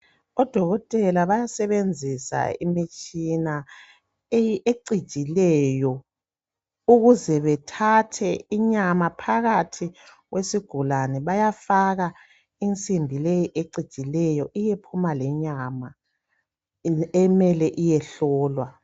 Odokotela bayasebenzisa imitshina ecijileyo ukuze bethathe inyama phakathi kwesigulane bayafaka insimbi leyi ecijileyo iyephuma lenyama emele iyehlolwa.